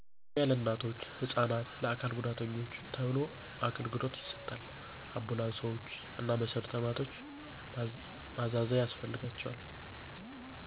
ቅድሚያ ለእናቶች፣ ህፃናት፣ ለአካል ጉዳተኞች ተብሎ አገልግሎት ይሰጣል። አንቡላንሶቾ እና መሰረተ ልማቶች ማዛዛያ ያስፈልጋቸዋል